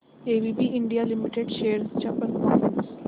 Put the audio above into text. ABB India limited shares चा performance